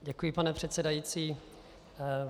Děkuji, pane předsedající.